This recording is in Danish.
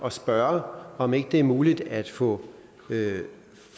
at spørge om det ikke er muligt at få